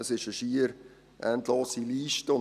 Es ist eine schier endlose Liste.